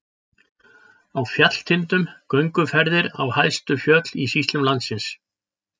Á fjallatindum- gönguferðir á hæstu fjöll í sýslum landsins.